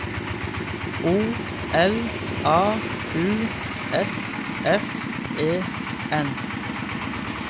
O L A U S S E N